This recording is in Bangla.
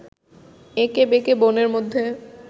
এঁকে বেঁকে বনের মধ্যে